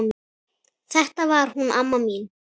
Þetta var hún amma mín.